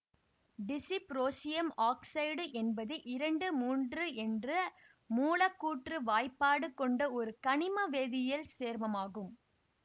dysprosium oxide என்பது இரண்டு மூன்று என்ற மூலக்கூற்று வாய்ப்பாடு கொண்ட ஒரு கனிம வேதியியல் சேர்மமாகும்